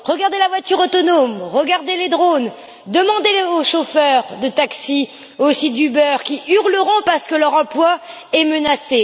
Regardez la voiture autonome, regardez les drones, demandez aux chauffeurs de taxi, aussi d'Uber, qui hurleront parce que leur emploi est menacé.